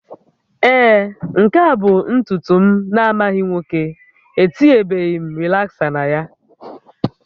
Ee, nke a bụ ntutu m na-amaghị nwoke, etinyebeghị m rịlaksa na ya